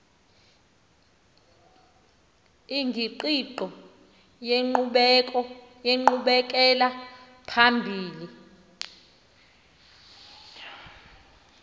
ingqiqo yenkqubela phambili